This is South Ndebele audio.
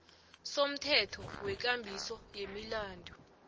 somthetho wekambiso yemilandu